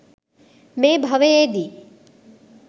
මේ භවයේදී